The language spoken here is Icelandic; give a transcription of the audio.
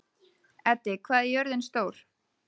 Eddi, hvað er jörðin stór?